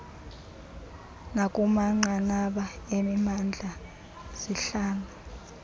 nakumanqanaba emimandla zihlala